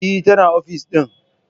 Eh, tana ofis din.